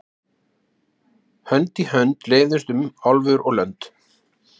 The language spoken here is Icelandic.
Hönd í hönd leiðumst um álfur og lönd.